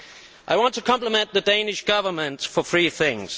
I want to compliment the Danish Government on three things.